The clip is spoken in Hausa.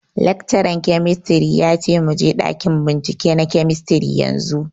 Laccaran kemistri ya ce muje ɗakin bincike na kemistri yanzu